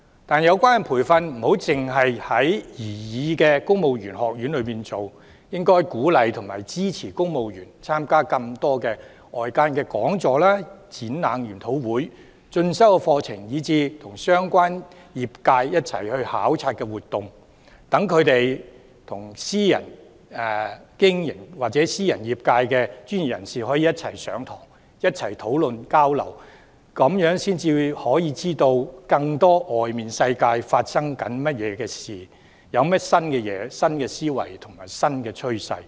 但有關培訓不應只在擬議的公務員學院推行，應該鼓勵和支持公務員參加更多外間的講座、展覽、研討會、進修課程，以及和相關業界一起參與考察活動，讓他們與私營業界和專業人士一起上課、討論交流，這樣才可以了解業界的運作、新思維和新趨勢。